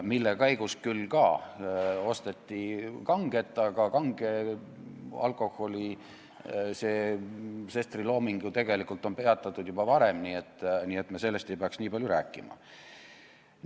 Selle käigus küll ka osteti kanget, aga kanget alkoholi puudutanud Sesteri looming on ju tegelikult peatatud juba varem, nii et me sellest ei peaks nii palju rääkima.